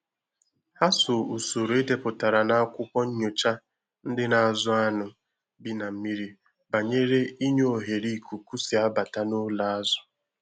Ha so usoro edeputara na akwụkwọ nyocha ndị na-azụ anụ bi na mmiri banyere inye ohere ikuku si abata na ụlọ azụ